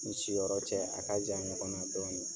N ni si yɔrɔ cɛ a ka jan ɲɔgɔn na dɔɔni.